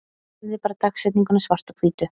Hefði bara dagsetninguna svart á hvítu.